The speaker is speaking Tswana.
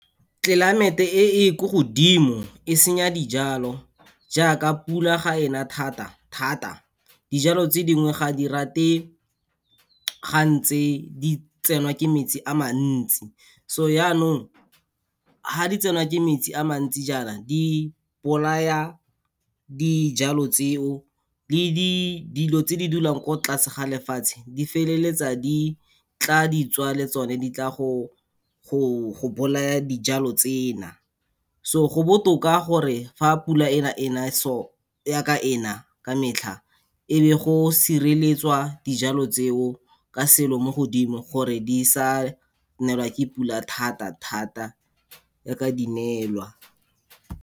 Climate-e e e ko godimo, e senya dijalo jaaka pula ga ena thata thata. Dijalo tse dingwe ga di rate, ga ntse di tsenwa ke metsi a mantsi, so yanong, ha di tsenwa ke metsi a mantsi ja na, di bolaya dijalo tseo le dilo tse di dulang ko tlase ga lefatshe, di feleletsa di tla di tswa le tsone di tla go bolaya dijalo tsena. So go botoka gore fa pula ena ena so, ya ka ena ka metlha, e be go sireletswa dijalo tseo ka selo mo godimo, gore di sa neelwa ke pula thata thata ya ka di nelwa.